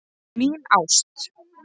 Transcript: Mín ást